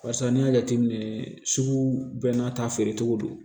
Barisa n'i y'a jateminɛ sugu bɛɛ n'a ta feere cogo don